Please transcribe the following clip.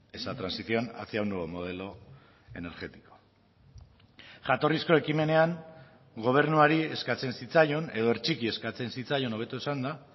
esa transición hacia un nuevo modelo energético jatorrizko ekimenean gobernuari eskatzen zitzaion edo hertsiki eskatzen zitzaion hobeto esanda